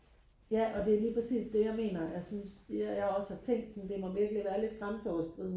ja og det er lige præcis det jeg mener jeg synes det jeg også har tænkt det må virkelig være lidt grænseoverskridende